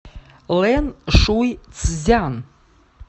лэншуйцзян